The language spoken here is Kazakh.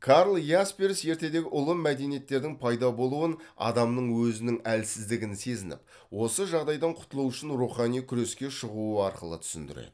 карл ясперс ертедегі ұлы мәдениеттердің пайда болуын адамның өзінің әлсіздігін сезініп осы жағдайдан құтылу үшін рухани күреске шығуы арқылы түсіндіреді